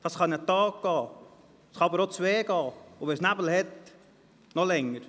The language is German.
Das kann einen Tag oder auch zwei Tage dauern, und wenn es Nebel hat, noch länger.